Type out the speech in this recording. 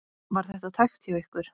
Var þetta tæpt hjá ykkur?